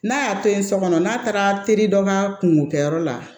N'a y'a to yen so kɔnɔ n'a taara teri dɔ ka kungo kɛ yɔrɔ la